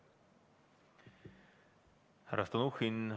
Härra Stalnuhhin!